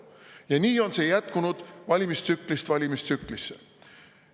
Ja nii on see jätkunud valimistsüklist valimistsüklisse.